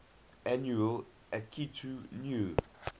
annual akitu new